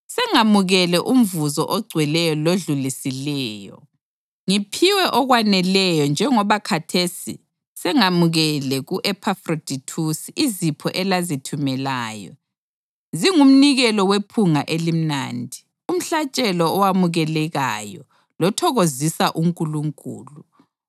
Sengamukele umvuzo ogcweleyo lodlulisileyo; ngiphiwe okwaneleyo njengoba khathesi sengamukele ku-Ephafrodithusi izipho elazithumelayo. Zingumnikelo wephunga elimnandi, umhlatshelo owamukelekayo lothokozisa uNkulunkulu.